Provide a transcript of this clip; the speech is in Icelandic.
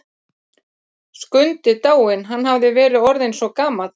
Skundi dáinn, hann hafði verið orðinn svo gamall.